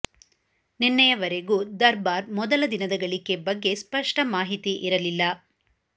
ನಿನ್ನೆಯವರೆಗೂ ದರ್ಬಾರ್ ಮೊದಲ ದಿನದ ಗಳಿಕೆ ಬಗ್ಗೆ ಸ್ಪಷ್ಟ ಮಾಹಿತಿ ಇರಲಿಲ್ಲ